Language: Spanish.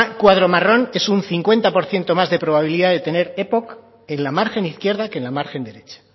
cuadro marrón es un cincuenta por ciento más de probabilidad de tener epoc en la margen izquierda que en la margen derecha